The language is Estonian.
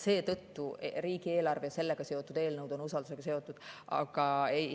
Seetõttu on riigieelarve ja sellega seotud eelnõud usaldus seotud.